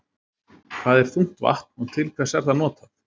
Hvað er þungt vatn og til hvers er það notað?